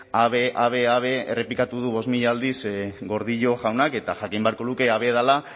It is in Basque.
ave ave ave errepikatu du bost mila aldiz gordillo jaunak eta jakin beharko luke ave dela